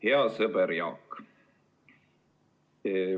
Hea sõber Jaak!